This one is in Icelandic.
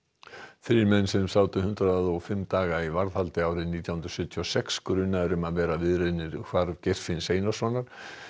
þrír menn sem sátu hundrað og fimm daga í varðhaldi árið nítján hundruð sjötíu og sex grunaðir um að vera viðriðnir hvarf Geirfinns Einarssonar